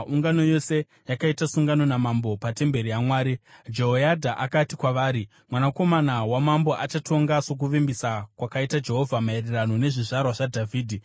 ungano yose yakaita sungano namambo patemberi yaMwari. Jehoyadha akati kwavari, “Mwanakomana wamambo achatonga sokuvimbisa kwakaita Jehovha maererano nezvizvarwa zvaDhavhidhi.